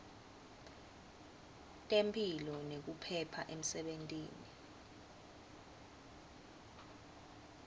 temphilo nekuphepha emsebentini